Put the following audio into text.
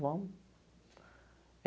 Vamos.